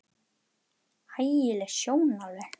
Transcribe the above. Ægi leg sjón alveg.